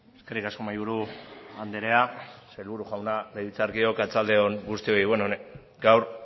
eskerrik asko mahaiburu anderea sailburu jauna legebiltzarkideok arratsalde on guztioi beno gaur